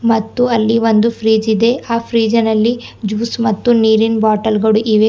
ಮತ್ತು ಅಲ್ಲಿ ಒಂದು ಫ್ರಿಡ್ಜ್ ಇದೆ ಆ ಫ್ರಿಡ್ಜ್ ಇನಲ್ಲಿ ಜ್ಯೂಸ್ ಮತ್ತು ನೀರಿನ್ ಬಾಟಲ್ ಗಳು ಇವೆ.